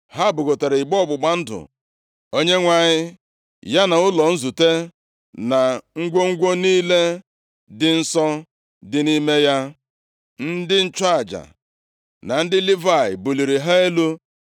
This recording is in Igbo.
Ha bugotara igbe ọgbụgba ndụ Onyenwe anyị, ya na ụlọ nzute, na ngwongwo niile dị nsọ dị nʼime ya. Ndị nchụaja na ndị Livayị buliri ha elu.